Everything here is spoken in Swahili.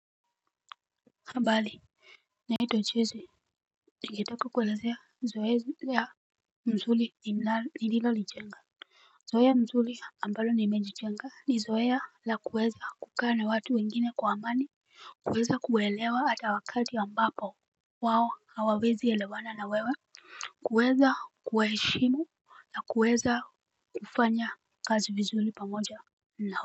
Habari. Naitwa jessy. Nikitaka kuelezea zoezi ya misuli ilivyonijenga. Zoea mzuri ambalo nimejichenga ni zoea la kuweza kukaa na watu wengine kwa amani. Kuweza kuwaelewa ata wakati ambapo wao hawawezi elewana na wewe. Kuweza kuwaheshimu na kuweza kufanya kazi vizuri pamoja.